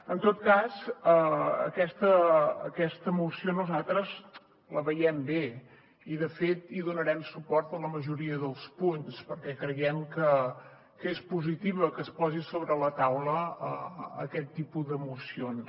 en tot cas aquesta moció nosaltres la veiem bé i de fet hi donarem suport en la majoria dels punts perquè creiem que és positiu que es posi sobre la taula aquest tipus de mocions